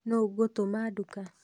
Nũũ ngũtuma nduka?